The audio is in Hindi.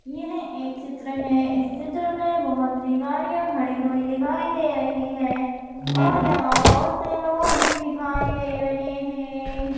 यह एक चित्र है इस चित्र मे बहोत सी गाड़ियां खड़ी हुई दिखाई दे रही है और यहां बहोत से लोग भी दिखाई दे रहे है।